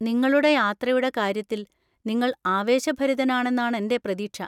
നിങ്ങളുടെ യാത്രയുടെ കാര്യത്തില്‍ നിങ്ങൾ ആവേശഭരിതനാണെന്നാണെന്‍റെ പ്രതീക്ഷ.